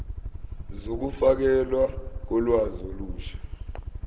zokufakelwa kolwazi olusha